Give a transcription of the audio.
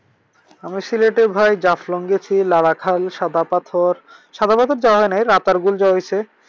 আমি সিলেটে ভাই জাফলং গিয়েছি, লারা খাল, সাদা পাথর। সাদা পাথর যাওয়া হয় নাই রাতারপুল যাওয়া হইছে।